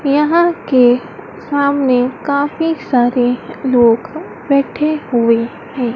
यहां के सामने काफी सारे लोग बैठे हुए हैं।